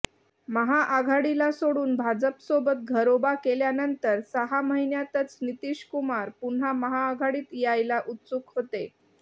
महाआघाडीला सोडून भाजपसोबत घरोबा केल्यानंतर सहा महिन्यातच नितीश कुमार पुन्हा महाआघाडीत यायला उत्सुक होते